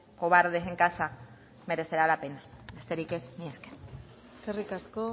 cobardes en casa merecerá la pena besterik ez mila esker eskerrik asko